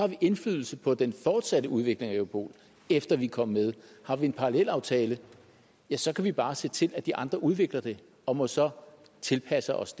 vi indflydelse på den fortsatte udvikling af europol efter vi kom med har vi en parallelaftale ja så kan vi bare se til at de andre udvikler det og må så tilpasse os